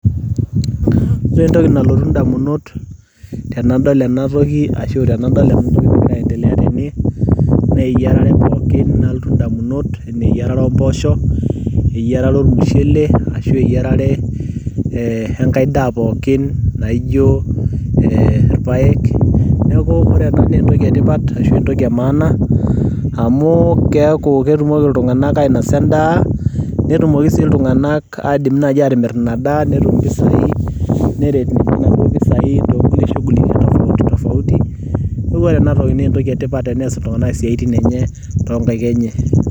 Ore entoki nalotu indamunot tenadol ena toki ashu tenadol ena nagira aiendelea tene naa eyiarare ompoosho, eyiarat ormushele ashueyiarare ee enkai daa pookin naa aijo ee irpaek, neeku ore ena naa entoki etipat ashu aa entoki e maana amu keeku ketumoki ultung'anak ainasa endaa netumoki sii iltung'anak aidim naai aatimirr ina daa netum impisai neret inaduo piisai, neeku ore ena naa entoki etipat nees iltung'anak esiai toonkaik enye.